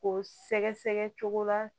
Ko sɛgɛsɛgɛ cogo la